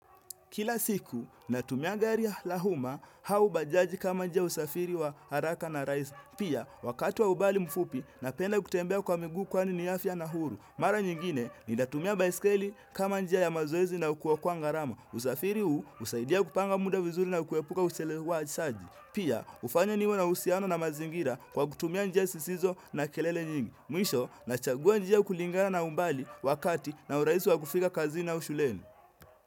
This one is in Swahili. Kila siku, natumia gari ya lahuma hau bajaji kama njia usafiri wa haraka na raisi. Pia, wakati wa umbali mfupi, napenda kutembea kwa miguu kwa ni ni afya na huru. Mara nyingine, ni natumia baiskeli kama njia ya mazoezi na kuokoa kwa ngarama. Usafiri huu, usaidia kupanga muda vizuri na ukuwepuka ushelewa ajisaji. Pia, ufanya niwa na usiano na mazingira kwa kutumia njia sisizo na kelele nyingi. Mwisho, nachagua njia kulingara na umbali wakati na uraisi wa kufika kazini au shuleni.